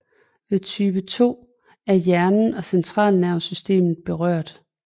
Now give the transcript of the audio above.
Ved type II er hjernen og centralnervesystemet berørt